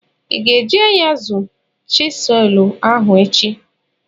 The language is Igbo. I ga-eyuzu chịselu ahụ echi?